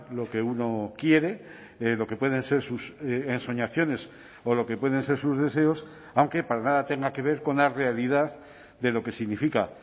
lo que uno quiere lo que pueden ser sus ensoñaciones o lo que pueden ser sus deseos aunque para nada tenga que ver con la realidad de lo que significa